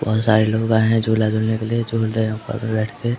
बहुत सारे लोग आए हैं झूला झूलने के लिए झूल रहे है ऊपर पे बैठ के।